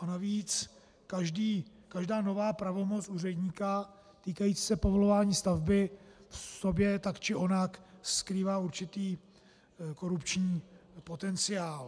A navíc každá nová pravomoc úředníka týkající se povolování stavby v sobě tak či onak skrývá určitý korupční potenciál.